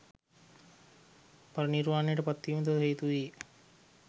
පරිනිර්වාණයට පත්වීමටද හේතුවූයේ